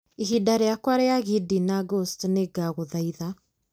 ihinda rĩakwa rĩa gidi na ghost nĩ ndagũthaitha